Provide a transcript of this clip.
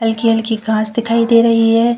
हलकी-हलकी घास दिखाई दे रही है।